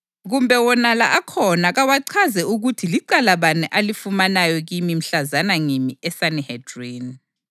Kumbe wonala akhona kawachaze ukuthi licala bani alifumanayo kimi mhlazana ngimi eSanihedrini,